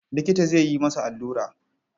Likita zai yi masa allura.